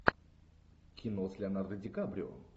кино с леонардо ди каприо